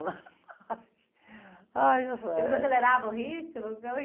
Ai, ...les aceleravam o ritmo? Como é...